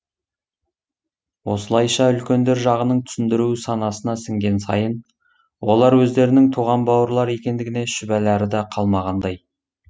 осылайша үлкендер жағының түсіндіруі санасына сіңген сайын олар өздерінің туған бауырлар екендігіне шүбәләрі де қалмағандай